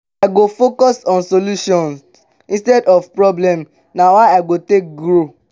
i go focus on solutions instead of problems; na how i go take grow.